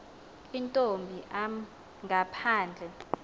intomb am ngaphandle